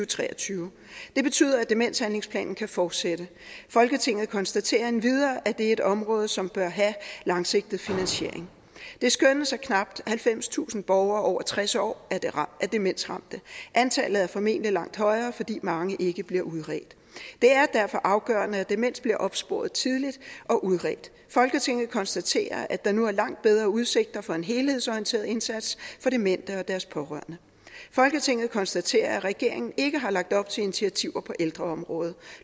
tre og tyve det betyder at demenshandlingsplanen kan fortsætte folketinget konstaterer endvidere at det er et område som bør have langsigtet finansiering det skønnes at knap halvfemstusind borgere over tres år er demensramte antallet er formentlig langt højere fordi mange ikke bliver udredt det er derfor afgørende at demens bliver opsporet tidligt og udredt folketinget konstaterer at der nu er langt bedre udsigter for en helhedsorienteret indsats for demente og deres pårørende folketinget konstaterer at regeringen ikke har lagt op til initiativer på ældreområdet